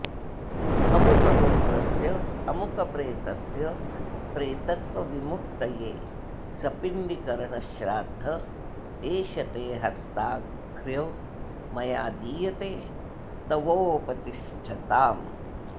अमुकगोत्रस्य अमुकप्रेतस्य प्रेतत्व विमुक्तये सपिण्डीकरण श्राद्ध एषते हस्ताघ्र्यो मयादीयते तवोपतिष्ठताम्